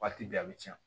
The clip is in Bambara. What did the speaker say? Waati bɛɛ a bɛ tiɲɛ